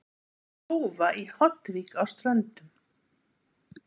Tófa í Hornvík á Ströndum.